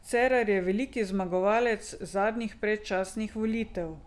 Cerar je veliki zmagovalec zadnjih predčasnih volitev.